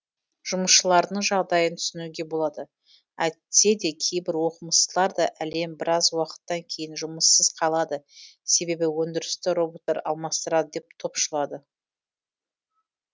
жұмысшылардың жағдайын түсінуге болады әйтсе де кейбір оқымыстылар да әлем біраз уақыттан кейін жұмыссыз қалады себебі өндірісті роботтар алмастырады деп топшылады